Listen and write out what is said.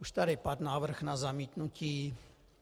Už tady padl návrh na zamítnutí.